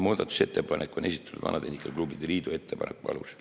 Muudatusettepanek on esitatud Eesti Vanatehnika Klubide Liidu ettepaneku alusel.